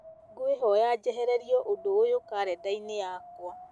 ngwĩhoya njehererio ũndũ ũyũ karenda-inĩ yakwa